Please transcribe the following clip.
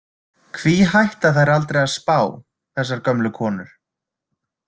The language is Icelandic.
Hví hætta þær aldrei að spá, þessar gömlu konur?